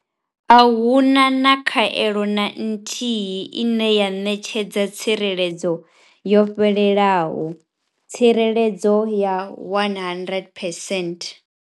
A hu na khaelo na nthihi ine ya ṋetshedza tsireledzo yo fhelelaho tsireledzo ya 100 percent.